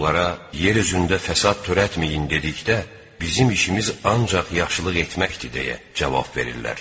Onlara: “Yer üzündə fəsad törətməyin!” – dedikdə: “Bizim işimiz ancaq yaxşılıq etməkdir” – deyə cavab verirlər.